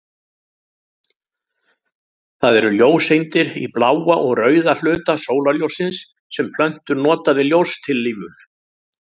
Það eru ljóseindir í bláa og rauða hluta sólarljóssins sem plöntur nota við ljóstillífun.